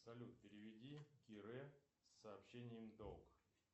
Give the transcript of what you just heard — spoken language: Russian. салют переведи кире с сообщением долг